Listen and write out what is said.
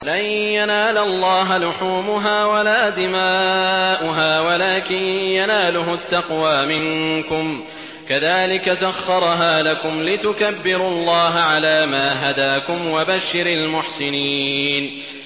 لَن يَنَالَ اللَّهَ لُحُومُهَا وَلَا دِمَاؤُهَا وَلَٰكِن يَنَالُهُ التَّقْوَىٰ مِنكُمْ ۚ كَذَٰلِكَ سَخَّرَهَا لَكُمْ لِتُكَبِّرُوا اللَّهَ عَلَىٰ مَا هَدَاكُمْ ۗ وَبَشِّرِ الْمُحْسِنِينَ